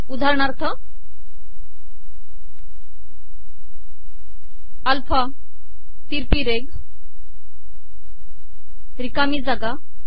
उदाहरणाथर alpha ितरपी रेघ िरकामी जागा ए